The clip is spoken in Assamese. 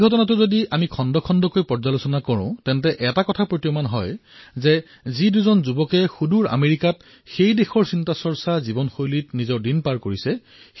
এই ঘটনাসমূহ যদি আপুনি ভালদৰে প্ৰত্যক্ষ কৰে তেন্তে দেখিব যে সেই যুৱকজনে আমেৰিকাৰ জীৱনশৈলীৰ মাজেৰে জীৱন নিৰ্বাহ কৰিছে